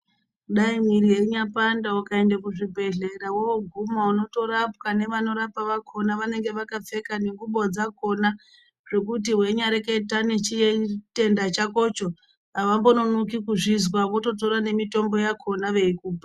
Dai mwiri yeinya panda ukaende ku zvibhedhlera woguma unoto rapwa ne vano rapa vakona vanenge vakapfeka ne ngubo dzakona zvekuti weinya reketa ne chitenda chakocho avombo nonoki kuzvinzwa voto tora ne mitombo yakona veikupa.